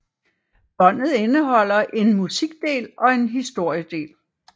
Båndet indeholder en musikdel og en historiedel